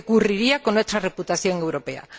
¿Qué ocurriría con nuestra reputación europea?